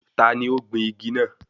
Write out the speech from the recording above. Taani ó gbìn igi náà?